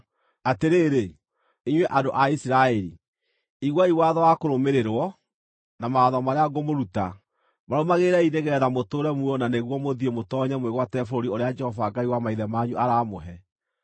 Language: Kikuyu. Atĩrĩrĩ, inyuĩ andũ a Isiraeli, iguai watho wa kũrũmĩrĩrwo, na mawatho marĩa ngũmũruta. Marũmagĩrĩrei nĩgeetha mũtũũre muoyo na nĩguo mũthiĩ mũtoonye mwĩgwatĩre bũrũri ũrĩa Jehova Ngai wa maithe manyu aramũhe.